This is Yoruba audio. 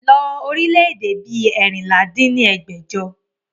lọ orílẹ̀ èdè bí eérinlá dín ní ẹgbẹ́jọ!